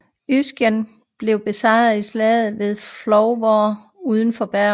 Øyskjeggene blev besejret i slaget ved Florvåg uden for Bergen